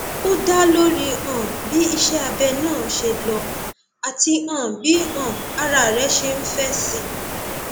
ó dá lórí um bí iṣẹ abẹ náà ṣe lọ àti um bí um ara rẹ ṣe ń fèsì